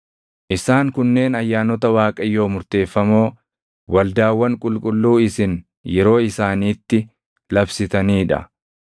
“ ‘Isaan kunneen ayyaanota Waaqayyoo murteeffamoo, waldaawwan qulqulluu isin yeroo isaaniitti labsitanii dha;